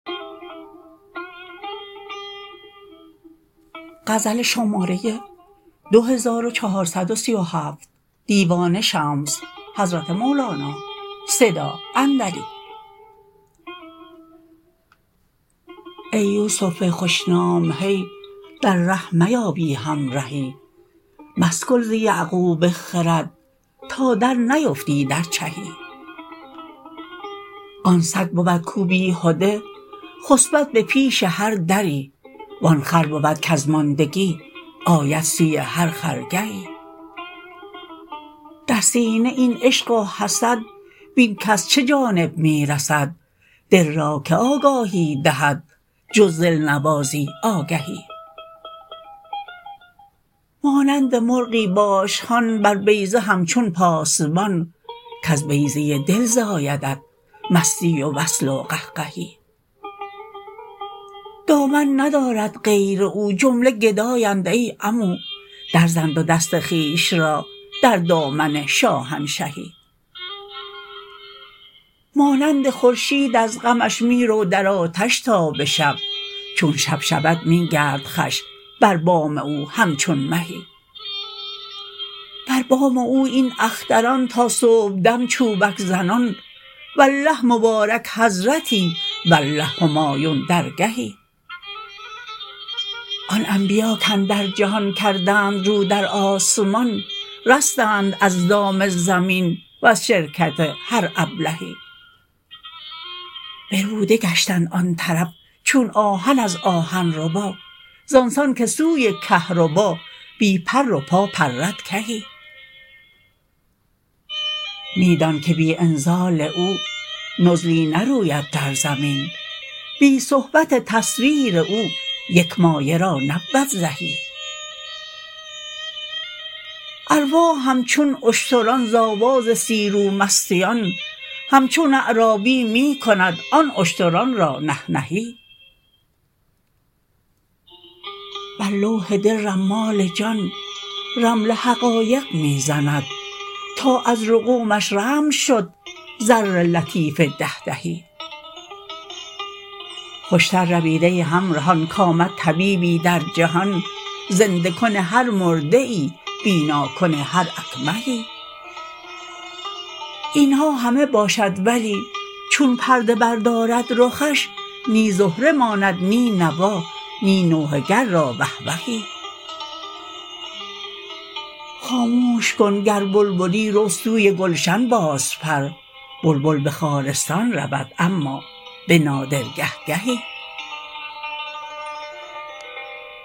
ای یوسف خوش نام هی در ره میا بی همرهی مسکل ز یعقوب خرد تا درنیفتی در چهی آن سگ بود کاو بیهده خسپد به پیش هر دری و آن خر بود کز ماندگی آید سوی هر خرگهی در سینه این عشق و حسد بین کز چه جانب می رسد دل را کی آگاهی دهد جز دلنوازی آگهی مانند مرغی باش هان بر بیضه همچو پاسبان کز بیضه ی دل زایدت مستی و وصل و قهقهی دامن ندارد غیر او جمله گدااند ای عمو درزن دو دست خویش را در دامن شاهنشهی مانند خورشید از غمش می رو در آتش تا به شب چون شب شود می گرد خوش بر بام او همچون مهی بر بام او این اختران تا صبحدم چوبک زنان والله مبارک حضرتی والله همایون درگهی آن انبیا کاندر جهان کردند رو در آسمان رستند از دام زمین وز شرکت هر ابلهی بربوده گشتند آن طرف چون آهن از آهن ربا زان سان که سوی کهربا بی پر و پا پرد کهی می دانک بی انزال او نزلی نروید در زمین بی صحبت تصویر او یک مایه را نبود زهی ارواح همچون اشتران ز آواز سیروا مستیان همچون عرابی می کند آن اشتران را نهنهی بر لوح دل رمال جان رمل حقایق می زند تا از رقومش رمل شد زر لطیف ده دهی خوشتر روید ای همرهان کآمد طبیبی در جهان زنده کن هر مرده ای بیناکن هر اکمهی این ها همه باشد ولی چون پرده بردارد رخش نی زهره ماند نی نوا نی نوحه گر را وه وهی خاموش کن گر بلبلی رو سوی گلشن بازپر بلبل به خارستان رود اما به نادر گه گهی